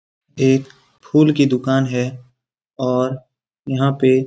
एक फूल की दुकान है और यहाँ पे --